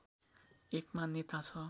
एक मान्यता छ